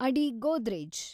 ಅಡಿ ಗೋದ್ರೇಜ್